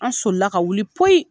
An solila ka wuli poyi